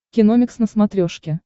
киномикс на смотрешке